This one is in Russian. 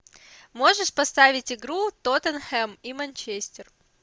можешь поставить игру тоттенхэм и манчестер